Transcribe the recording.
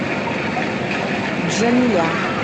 джамиля